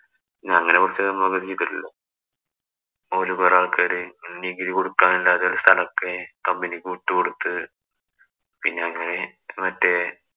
പിന്നെ അങ്ങനെ കുറച്ചു ഓര് കൊറേ ആള്‍ക്കാര് നികുതി കൊടുക്കാനില്ലാതെ സ്ഥലത്തെ company ക്ക് വിട്ടുകൊടുത്ത് പിന്നെ അങ്ങനെ മറ്റേ